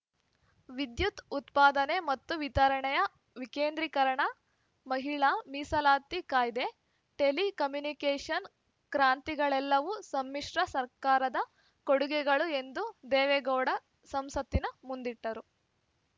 ವಿದ್ಯುತ್‌ ಉತ್ಪಾದನೆ ಮತ್ತು ವಿತರಣೆಯ ವಿಕೇಂದ್ರಿಕರಣ ಮಹಿಳಾ ಮೀಸಲಾತಿ ಕಾಯ್ದೆ ಟೆಲಿ ಕಮ್ಯುನಿಕೇಷನ್‌ ಕ್ರಾಂತಿಗಳೆಲ್ಲವೂ ಸಮ್ಮಿಶ್ರ ಸರ್ಕಾರದ ಕೊಡುಗೆಗಳು ಎಂದು ದೇವೇಗೌಡ ಸಂಸತ್ತಿನ ಮುಂದಿಟ್ಟರು